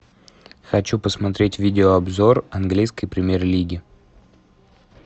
хочу посмотреть видео обзор английской премьер лиги